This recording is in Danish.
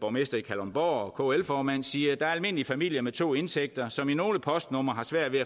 borgmester i kalundborg og kl formand siger der er almindelige familier med to indtægter som i nogle postnumre har svært ved at